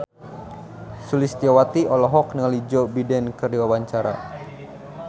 Sulistyowati olohok ningali Joe Biden keur diwawancara